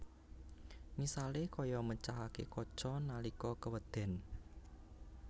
Misalé kaya mecahaké kaca nalika kewéden